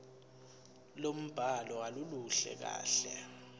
lombhalo aluluhle kahle